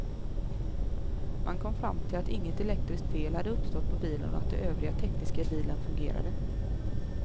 Man kom fram till att inget elektriskt fel hade uppstått på bilen och att det övriga tekniska i bilen fungerade.